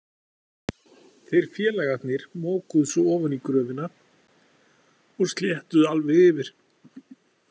Þeir félagarnir mokuðu svo ofan í gröfina og sléttuðu alveg yfir.